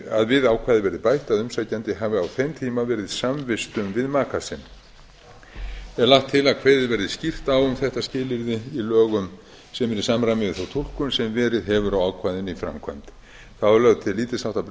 að umsækjandi hafi á þeim tíma verið samvistum við maka sinn er lagt til að kveðið verði skýrt á um þetta skilyrði í lögum sem eru í samræmi við þá túlkun sem verið hefur á ákvæðinu í framkvæmd þá er lögð til lítils háttar breyting